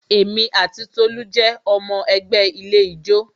Èmi ati Tolu jẹ́ ọmọ ẹgbẹ́ ilé ijó